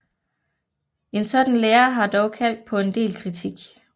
En sådan lære har dog kaldt på en del kritik